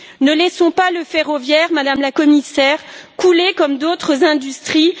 Ne laissons pas le ferroviaire, Madame la Commissaire, couler comme d'autres industries.